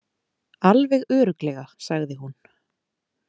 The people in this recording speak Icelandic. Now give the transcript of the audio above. Alveg örugglega, sagði hún.